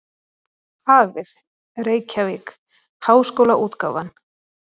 Hafið, Reykjavík: Háskólaútgáfan.